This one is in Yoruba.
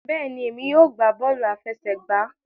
Bẹẹni, èmi yóò gbà bọọ̀lu afẹ̀sẹ̀gba.